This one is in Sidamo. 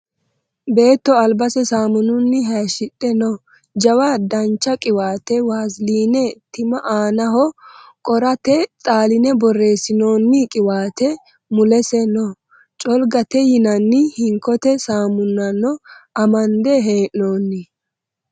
Beetto albase saamununni hayishshidhe no. Jawa dancha qiwaate vaseline time aanaho qorata xalline borreessinoonni qiwaate mulese no. Colgate yinanni hinkote saamunano amande hee'noonni.